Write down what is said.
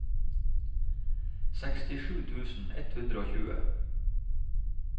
sekstisju tusen ett hundre og tjue